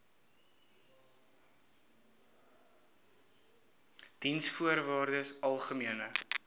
diensvoorwaardesalgemene